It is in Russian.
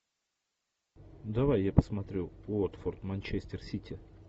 давай я посмотрю уотфорд манчестер сити